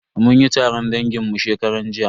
Mun yi taron dangin mu shekaran jiya.